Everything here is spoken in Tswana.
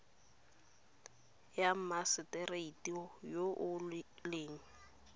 ya mmagisetera yo o leng